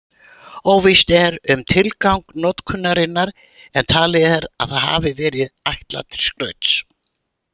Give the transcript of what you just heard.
Óvíst er um tilgang notkunarinnar en talið er að það hafi verið ætlað til skrauts.